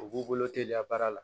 U b'u bolo teliya baara la